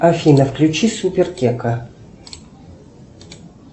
афина включи супер кека